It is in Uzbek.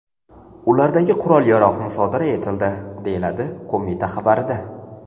Ulardagi qurol-yarog‘ musodara etildi”, deyiladi qo‘mita xabarida.